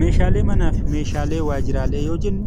Meeshaalee manaa fi meeshaalee waajjiraalee yoo jennu,